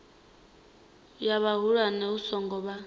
ya vhahulwane hu songo vha